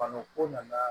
Baloko nana